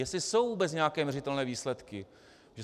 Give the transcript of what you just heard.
Jestli jsou vůbec nějaké měřitelné výsledky.